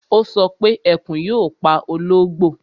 Ó sọ pé Ẹkùn yóò pa ológbò